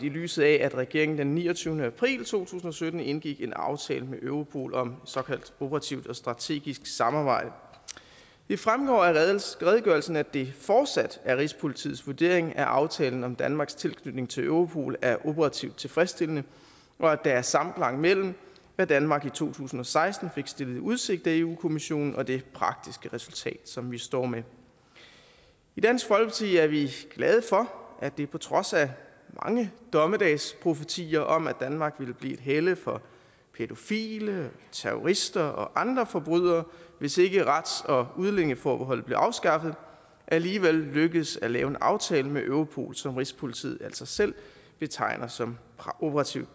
i lyset af at regeringen den niogtyvende april to tusind og sytten indgik en aftale med europol om såkaldt operativt og strategisk samarbejde det fremgår af redegørelsen at det fortsat er rigspolitiets vurdering at aftalen om danmarks tilknytning til europol er operativt tilfredsstillende og at der er samklang mellem hvad danmark i to tusind og seksten fik stillet i udsigt af europa kommissionen og det praktiske resultat som vi står med i dansk folkeparti er vi glade for at det på trods af mange dommedagsprofetier om at danmark ville blive et helle for pædofile terrorister og andre forbrydere hvis ikke rets og udlændingeforbeholdet blev afskaffet alligevel lykkedes at lave en aftale med europol som rigspolitiet altså selv betegner som operativt